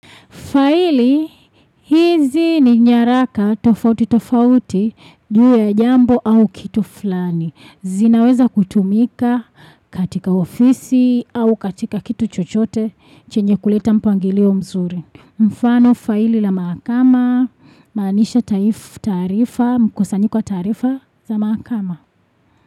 Faili, hizi ni nyaraka tofauti tofauti, juu ya jambo au kitu fulani. Zinaweza kutumika katika ofisi au katika kitu chochote, chenye kuleta mpangilio mzuri. Mfano faili la maakama, manisha taifu taarifa, mkosanyiko wa taarifa za maakama.